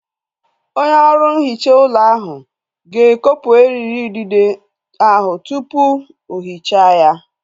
Onye ọrụ nhicha ụlọ ahu ga-ekopu eriri idide ahu tupu o hichaa ya